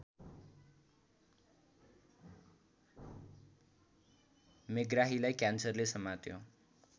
मेग्राहीलाई क्यान्सरले समात्यो